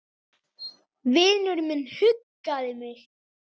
Vinur minn huggaði mig.